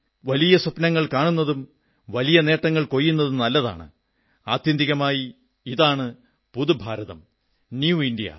വലിയ സ്വപ്നങ്ങൾ കാണുന്നതും വലിയ നേട്ടങ്ങൾ കൊയ്യുന്നതും നല്ലതാണ് ആത്യന്തികമായി ഇതാണു പുതു ഭാരതം ന്യൂ ഇന്ദ്യ